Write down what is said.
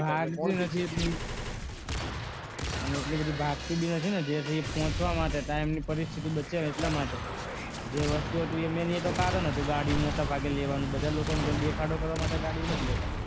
એટલી બધી ભાગતી નથી ને જેથી પહોંચવા માટે ટાઈમની પરિસ્થિતિ બચે એટલા માટે જે વસ્તુ હતું main એ તો કારણ હતું ગાડી મોટે ભાગે લેવાનો બધા લોકો દેખાડો કરવા માટે ગાડી નથી લેતા